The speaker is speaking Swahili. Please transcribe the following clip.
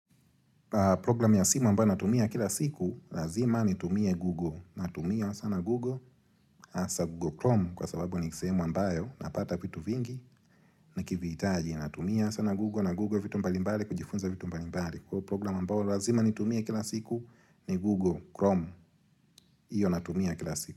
Program ya simu ambayo natumia kila siku lazima nitumie Google. Natumia sana Google hasa Google Chrome kwa sababu ni kisehemu ambayo napata vitu vingi nikivitaji. Natumia sana Google na Google vitu mbalimbali kujifunza vitu mbalimbali. Kwa hiyo program ambayo lazima nitumie kila siku ni Google Chrome. Hiyo natumia kila siku.